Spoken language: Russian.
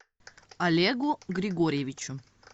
олегу григорьевичу